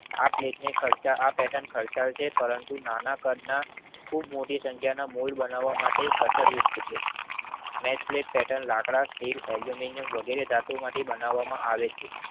આ પ્લેટ ને કરતા આ પેર્ટન ખાલતાય છે પરંતુ નાના કાળના ખુબ મોટી સંખ્યા નો મોલ્ડ બનાવામાં માટેના કટરયુગ છે. નેક્સપ્લેટ પેર્ટન લાકડા સ્ટીલ એલ્યૂમિનિયમ વગેરે ધાતુ માંથી બનાવામાં આવે છે.